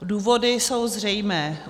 Důvody jsou zřejmé.